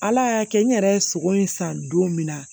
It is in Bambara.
Ala y'a kɛ n yɛrɛ ye sogo in san don min na